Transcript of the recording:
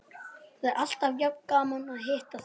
Það er alltaf jafn gaman að hitta þig.